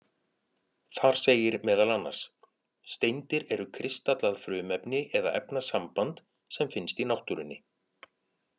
Þar segir meðal annars: Steindir eru kristallað frumefni eða efnasamband sem finnst í náttúrunni.